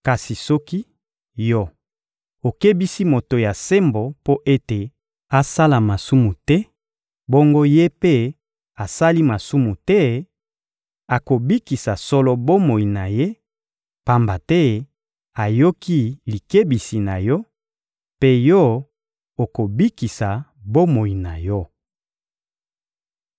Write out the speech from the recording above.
Kasi soki, yo, okebisi moto ya sembo mpo ete asala masumu te, bongo ye mpe asali masumu te, akobikisa solo bomoi na ye, pamba te ayoki likebisi na yo, mpe yo, okobikisa bomoi na yo.»